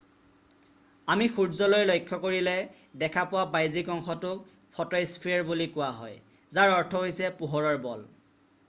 আমি সূৰ্য্যলৈ লক্ষ্য কৰিলে দেখা পোৱা বাহ্যিক অংশটোক ফ’ট’স্পে্যাৰ বুলি কোৱা হয় যাৰ অৰ্থ হৈছে পোহৰৰ বল”।